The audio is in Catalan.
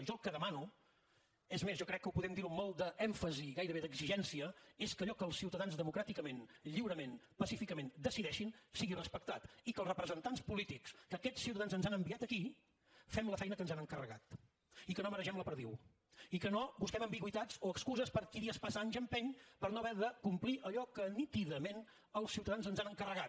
jo el que demano és més jo crec que podem dir ho amb molt d’èmfasi i gairebé d’exigència és que allò que els ciutadans democràticament lliurement pacíficament decideixin sigui respectat i que els representants polítics que aquests ciutadans ens han enviat aquí fem la feina que ens han encarregat i que no maregem la perdiu i que no busquem ambigüitats o excuses per qui dies passa anys empeny per no haver de complir allò que nítidament els ciutadans ens han encarregat